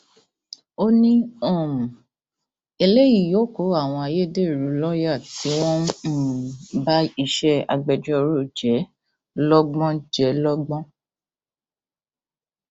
ó ní um eléyìí yóò kó àwọn ayédèrú lọọyà tí wọn ń um ba iṣẹ agbẹjọrò jẹ lọgbọn jẹ lọgbọn